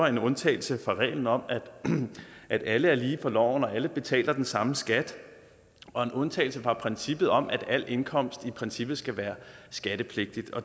en undtagelse fra reglen om at alle er lige for loven og at alle betaler den samme skat og en undtagelse fra princippet om at al indkomst i princippet skal være skattepligtig